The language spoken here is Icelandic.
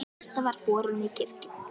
Kista var borin í kirkju.